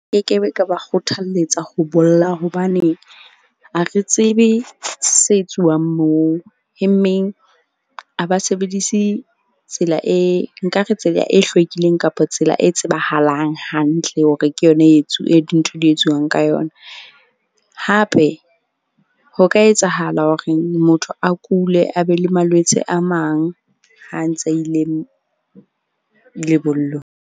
Nke ke be, ka ba kgothalletsa ho bolla hobane ha re tsebe se etsuwang moo, he mmeng a ba sebedise tsela e nkare tsela e hlwekileng kapa tsela e tsebahalang hantle hore ke yona e dintho di etswang ka yona. Hape ho ka etsahala horeng motho a kule, a be le malwetse a mang ha ntse a ileng lebollong.